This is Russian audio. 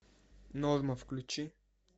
норма включи